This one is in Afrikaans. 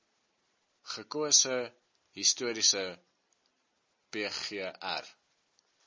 gekose historiese pgr